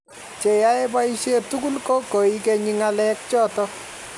che yae boishet tugul ko koigenyi ngalek chotok